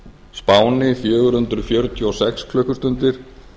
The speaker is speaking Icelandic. spáni fjögur hundruð fjörutíu og sex klukkustundir